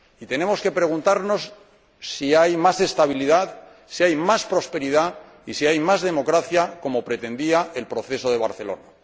Y tenemos que preguntarnos si hay más estabilidad, si hay más prosperidad y si hay más democracia, como pretendía el Proceso de Barcelona.